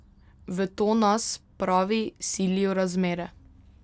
V to nas, pravi, silijo razmere.